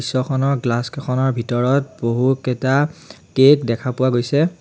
Picture খনৰ glass কেখনৰ ভিতৰত বহুকেটা কেক দেখা পোৱা গৈছে।